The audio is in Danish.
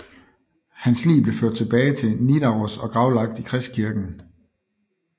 Hans lig blev ført tilbage til Nidaros og gravlagt i Kristkirken